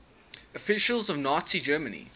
officials of nazi germany